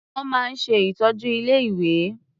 Wọ́n máa ń ṣe ìtọ́jú ilé-ìwé.